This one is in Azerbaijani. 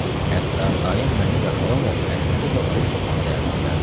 Hətta dayım məni və xalam oğlu Əhmədi də oruc tutmağı dəvət edərdi.